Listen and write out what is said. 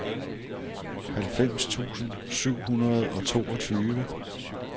halvfems tusind syv hundrede og toogtyve